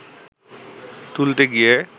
তুলতে গিয়ে